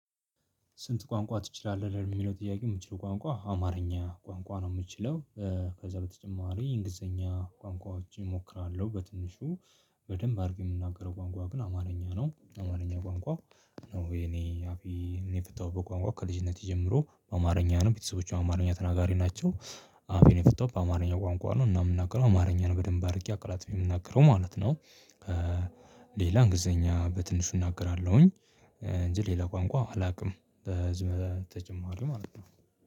ስንት? ቋንቋ ትችላለህ ለሚለው ጥያቄ የምችለው ቋንቋ አማርኛ ቋንቋ ነው የምችለው ከዛ በተጨማሪ እንግሊዘኛ ቋንቋዎች እሞክራለሁ በትንሹ በደንብ አድርጌ የምናገረው ቋንቋ ግን አማርኛ ነው አማርኛ ቋንቋ። ነው የኔ አፌ እኔ የፈታውበት በቋንቋ ከልጅነቴ ጀምሮ አማርኛ ነው ቤተሰቦቼ አማርኛ ተናጋሪ ናቸው። አፌን የፈታዉት አማርኛ ቋንቋ ነው እና የምናገረው አማርኛን በደንብ አድርጌ አቅላጥፌ የምናገረው ማለት ነው። ሌላ እንግሊዘኛ በትንሹ እናገራለሁኝ እንጂ ሌላ ቋንቋ አላውቅም። በዚህ ተጨማሪ ማለት ነው።